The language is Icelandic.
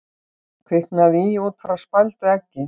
Kviknaði í út frá spældu eggi